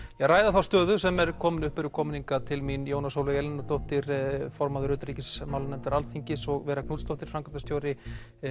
ræða þá stöðu sem er kominn upp eru komnar hingað til mín Jóna Sólveig Elínardóttir formaður utanríkismálanefndar Alþingis og Vera Knútsdóttir framkvæmdastjóri